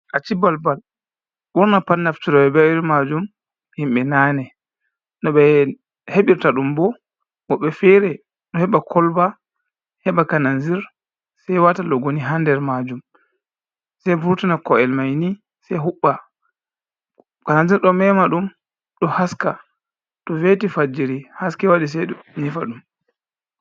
Aci bal-bal, ɓurna pat naftiroɓe be irin maajum, himɓe nane. No ɓe hebirta ɗum bo, woɓɓe fere ɗo heɓa kolba heɓa kananzir, sei waata logoni ha nder maajum, sei vurtina ko’el mai ni sei huɓɓa. Kananzir ɗo mema ɗum, ɗo haska. To veti fajiri haske waɗi, sei ɗum nyifa ɗum.